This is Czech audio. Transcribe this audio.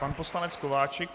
Pan poslanec Kováčik.